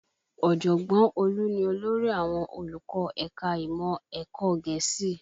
Ọ̀jọ̀gbọ́n Olú ni olórí àwọn olùkọ́ ẹ̀ka ìmọ̀ ẹ̀kọ́ Gẹ̀ẹ́sì